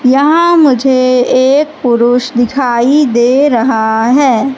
यहां मुझे एक पुरुष दिखाई दे रहा है।